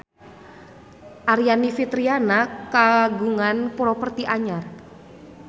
Aryani Fitriana kagungan properti anyar